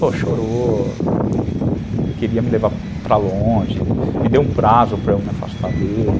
Pô, chorou, queria me levar para longe, me deu um prazo para eu me afastar dele.